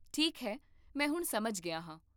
ਠੀਕ ਹੈ, ਮੈਂ ਹੁਣ ਸਮਝ ਗਿਆ ਹਾਂ